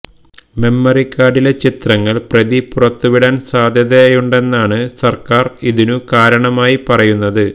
memory കാര്ഡിലെ ചിത്രങ്ങള് പ്രതി പുറത്തുവിടാന് സാധ്യതയുണ്ടെന്നാണ് സര്ക്കാര് ഇതിനു കാരണമായി പറയുന്നത്